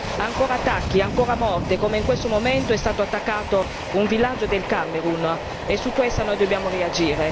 Ancora attacchi, ancora morte, come in questo momento è stato attaccato un villaggio del Camerun e su questo noi dobbiamo reagire.